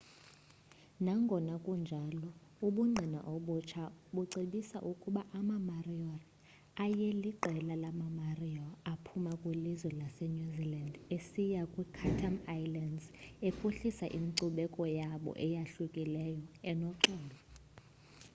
nangona kunjalo ubungqina obutsha bucebisa ukuba amamoriori ayeliqela lamamaori aphuma kwilizwe lasenew zealand esiya kwiichatham islands ephuhlisa inkcubeko yabo eyahlukileyo enoxolo